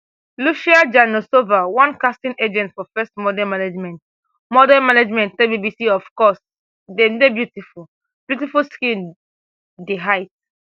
lucia janosova one casting agent for first model management model management tell bbc of course dem dey beautiful beautiful skin di height